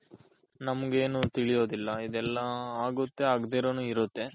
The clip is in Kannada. ನಮ್ಗೆನು ತಿಳಿಯೋದಿಲ್ಲ ಇದೆಲ್ಲ ಆಗುತ್ತೆ ಆಗ್ದಿರನು ಇರುತ್ತೆ.